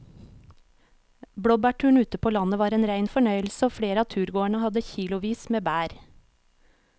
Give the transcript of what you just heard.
Blåbærturen ute på landet var en rein fornøyelse og flere av turgåerene hadde kilosvis med bær.